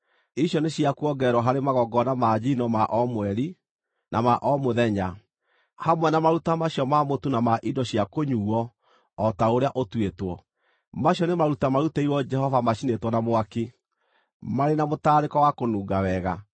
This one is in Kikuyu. Icio nĩ cia kuongererwo harĩ magongona ma njino ma o mweri, na ma o mũthenya, hamwe na maruta macio ma mũtu na ma indo cia kũnyuuo o ta ũrĩa ũtuĩtwo. Macio nĩ maruta marutĩirwo Jehova macinĩtwo na mwaki, marĩ na mũtararĩko wa kũnunga wega.